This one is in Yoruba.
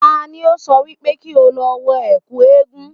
Tani ó sọ wípé kí o lọ wọ ẹ̀kú eégún